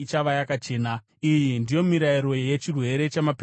Iyi ndiyo mirayiro yechirwere chamaperembudzi, kuvava,